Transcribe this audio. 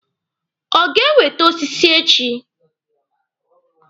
Ọ ga-ewete osisi echi?